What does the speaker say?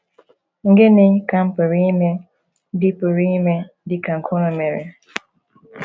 “ Gịnị ka m pụrụ ime dị pụrụ ime dị ka nke unu mere? ”